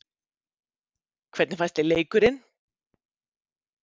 Hvernig fannst þér leikurinn?